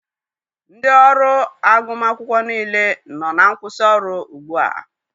Ndị ọrụ agụmakwụkwọ niile nọ na nkwusi ọrụ gbu a.